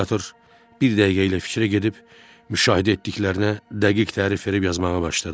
Psixiatr bir dəqiqəliyə fikrə gedib müşahidə etdiklərinə dəqiq tərif verib yazmağa başladı.